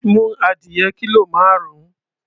Mú adìyẹ kílò márùn-ún.